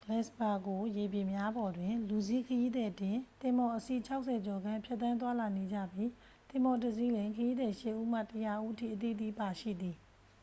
ဂလပ်စ်ပါဂိုရေပြင်များပေါ်တွင် လူစီးခရီးသည်တင် သင်္ဘော အစီး 60 ကျော်ခန့် ဖြတ်သန်းသွားလာနေကြပြီး သင်္ဘောတစ်စီးလျှင် ခရီးသည် 8 ဦးမှ 100 ဦးအထိ အသီးသီး ပါရှိသည်